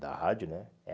Da rádio, né?